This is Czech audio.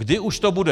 Když už to bude?